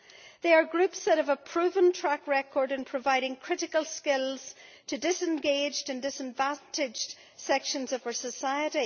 These are groups that have a proven track record in providing critical skills to disengaged and disadvantaged sections of our society.